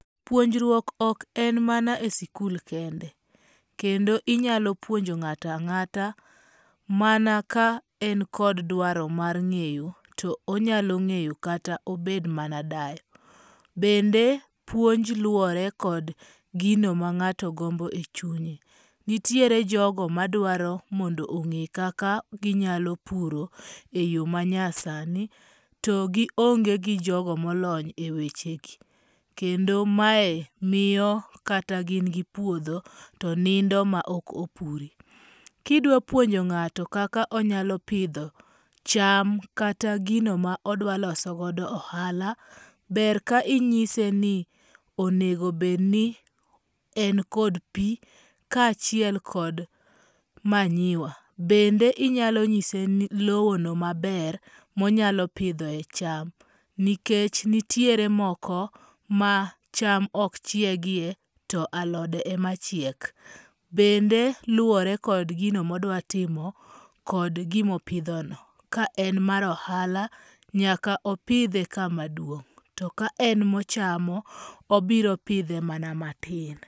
Puonjruok ok en mana e sikul kende. Kendo inyalo puonjo ng'ato ang'ata mana ka en kod dwaro mar ng'eyo to onyalo ng'eyo kata obed mana dayo. Bende puonj luwore kod gino ma ng'ato gombo e chunye. Nitiere jogo madwaro mondo ong'e kaka ginyalo puro e yo manyasani to gi onge gi jogo molony e weche gi. Kendo mae miyo kata gin gi puodho to nindo ma ok opure. Kidwa puonjo ng'ato kaka onyalo pidho cham kata gino ma odwa loso go ohala, ber ka inyise ni onego bed ni en kod pi ka achiel kod manyiwa. Bende inyalo nyise lowo no maber monyalo pidhoe cham. Nikech nitiere moko ma cham ok chiegie to alode e ma chiek. Bende luwore kod gino modwatimo kod gimopidho no. Ka en mar ohala nyaka opidhe kama duong'. To ka en monyamo obiro pidhe mana matin.